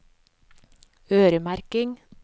øremerking